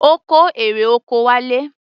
Ó kó erè oko wálé.